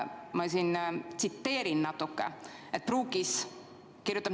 Ma tsiteerin natuke.